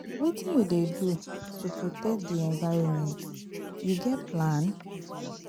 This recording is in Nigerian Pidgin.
Wetin you dey do to protect di environment, you get plan?